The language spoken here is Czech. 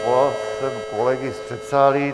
Svolal jsem kolegy z předsálí.